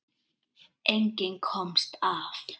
Enginn komst af.